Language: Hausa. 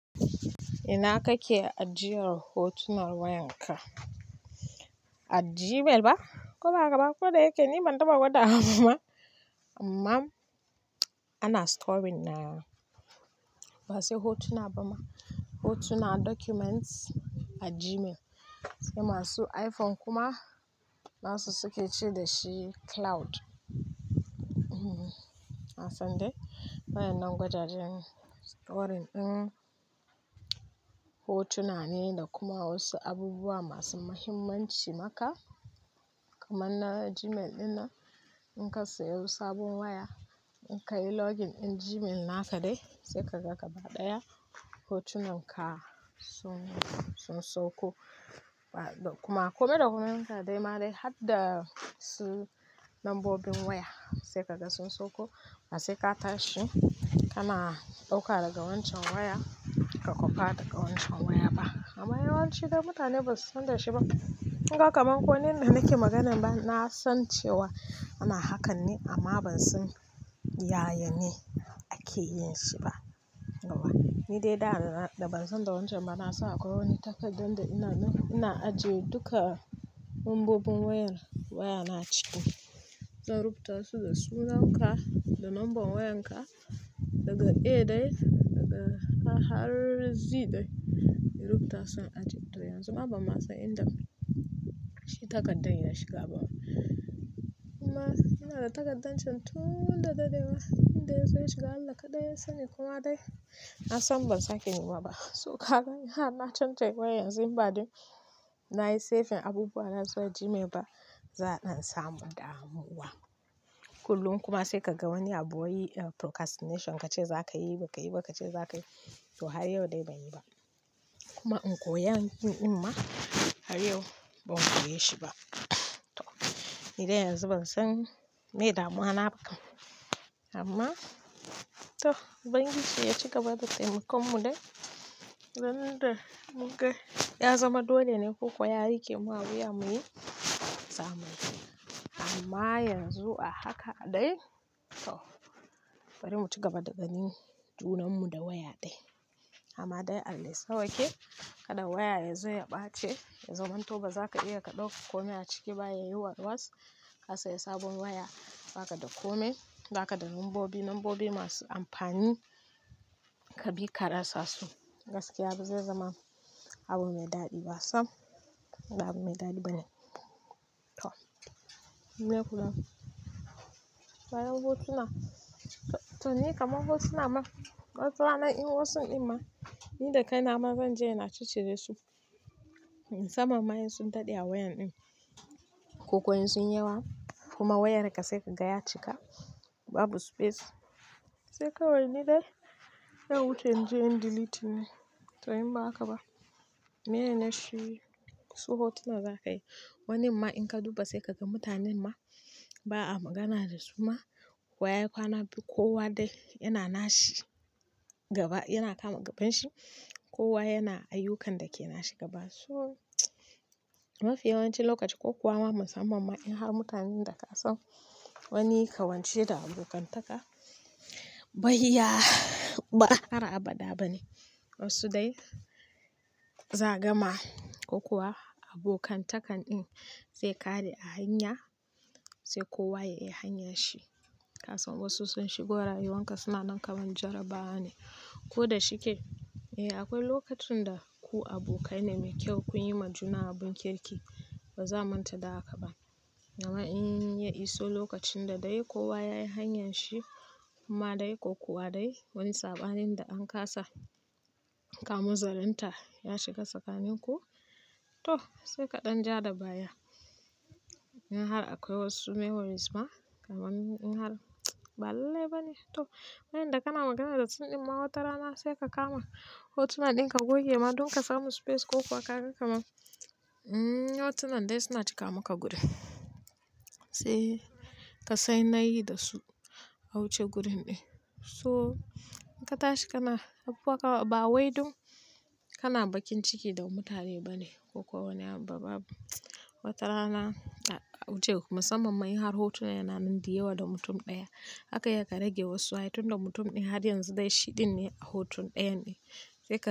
Ina kake ajiyar hotunar wayanka? A Gmail ba? Ko ba haka ba ko dyake, ni ban taɓa gwada wa ba. Amma ana storing na, ba sai hotuna ba ma, hotuna, documents a Gmail. Sai masu iPhone kuma nasu suke ce da shi cloud. Na san dai. Wayan nan gwajajjen storing din hotuna ne da kuma wasu abubuwa masu mahimmanci maka kaman na Gmail ɗin nan. In ka saya sabon waya, in ka yi login ɗin Gmail naka dai sai ka ga gaba ɗaya hotunan ka sun, sun sauko. Kuma kome da komenka dai ma dai har da su nambobin waya sai ka ga sun sauko. Ba sai ka tashi, kana ɗauka daga wancan waya ka kwafa daga wancan waya ba. Amma yawanci dai mutane ba su san da shi ba. Kin ga kaman ko ni yanda na ke magana ba, na san cewa ana hakan ne amma ban san yayane ake yin shi ba. Yauwa ni dai da, da ban san da wancan ba na san akwai wani takardar da ina ina, ina ajiye duka lambobin wayar wayana ciki. Don rubuta su da sunanka, da numban wayanka daga A dai daga har Zi dai. Ii rubuta su in ajiye. To yanzu ma ban masa inda shi takardan ya shiga ba. Kuma ina da takardar can tun da dadewa. Inda ya zo ya shiga Allah kaɗai ya sani kuma dai na san ban sake nema ba. To ka ga in har na canja wayan yanzu in ba dai na yi saving abubuwa na zuwa Gmail ba, za'a dan samu damuwa. Kullum kuma sai ka ga wani abu wai procastination ka ce za ka yi ba ka yi ba, ka ce za ka yi to har yau dai ban yi ba. Kuma in koya in, yi dinma amma har yau ban koye shi ba. To ni dai yanzu ban san meye damuwa na ba. Amma to ubangiji ya ciga ba da taimakon mu dai. Ran da muga ya zama dole ne ko kuwa yarike mu a wuya muyi zamuyi. Amma yanzu a haka dai to bari mu cigaba da ganin junanmu da waya dai. Amma dai Allah ya sa wa ke kada waya ya zo ya ɓace. Ya zaman to ba za ka iya ka ɗauka kome a ciki ba ya yi warwas. Ka saya sabon waya ba ka da kome, ba ka da numbobi, lambobi masu amfani ka bi karasa su. Gaskiya ba zai zama abu mai daɗi. Ba sam ba abu mai daɗi bane. To, me ya kula? Ga yan hotuna, to ni kaman hotuna ma, wata rana in wasu in ma ni da kaina ma zan je ina ciccire su. Samam ma in sun daɗe a wayan din. Ko kuwa in sun yi yawa kuma wayar ka sai ka ga ya cika babu space. Sai kawai ni dai don wuce in je in yi deleting ne. To in ba haka ba, meye ne shi su hotuna za ka yi. Wanin ma in ka duba sai ka ga mutanen ma ba a magana da su ma. Waya kwana biyu kowa dai yana na shi gaba, yana kama gabanshi. Kowa yana ayyukan da ke na shi gaba. So mafi yawanci lokaci ko kuwa ma musamman ma in har mutanen da ka son wani kawance da abokantaka bai ya ba har abada ba ne. Wasu dai za angama ko kuwa abokantakan din zai ƙare a hanya sai kowa ya yi hanyar shi. Kasan wasu sun shigo rayuwan ka suna nan kaman jarrabawa ne. Ko da shike, eh akwai lokacin da ku abokai ne mai kyau kun yi ma juna abun kirki. Ba za mu manta da haka ba. Kuma in ya iso lokacin da dai kowa yayi hanyan shi kuma dai ko kuwa dai wani sabanin da an kasa saka mazau ninta ya shiga tsakaninku to saika ja da baya. In har akwai wasu memories ma kaman in har ba lallai bane. To wayanda kana magana da su in ma wata rana sai ka kama hotuna din ka goge ma don ka samu space ko kuwa kaga kaman uhm hotunan da suna cika maka wuri sai kasan nayi dasu a wuce wurin din. To in katashi kana baka bawai dun kana bakin ciki da mutane bane ko kuma wani abu babu. Wata rana a ace musamman ma indai hotunan yananan da yawa na mutum daya. Zaka iya ka rage wasu ai tunda mutum din haryanzu dai shi din ne a hoton dayan din sai ka.